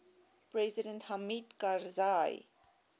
president hamid karzai